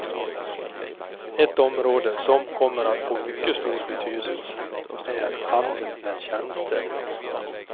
Ett område som kommer att få mycket stor betydelse är handeln med tjänster.